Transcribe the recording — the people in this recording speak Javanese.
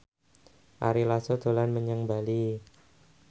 Ari Lasso dolan menyang Bali